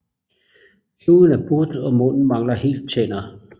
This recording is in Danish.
Snuden er but og munden mangler helt tænder